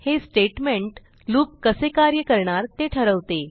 हे statement loop कसे कार्य करणार ते ठरवते